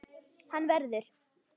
Hann verður.